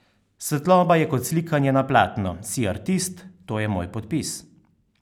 Svetloba je kot slikanje na platno: 'Si artist, to je moj podpis.